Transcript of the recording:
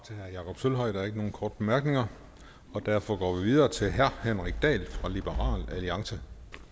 jakob sølvhøj der er ikke nogen korte bemærkninger og derfor går vi videre til herre henrik dahl fra liberal alliance